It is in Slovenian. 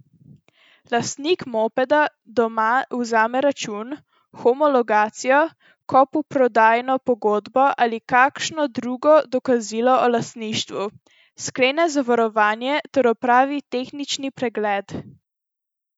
Lastnik mopeda doma vzame račun, homologacijo, kupoprodajno pogodbo ali kakšno drugo dokazilo o lastništvu, sklene zavarovanje ter opravi tehnični pregled.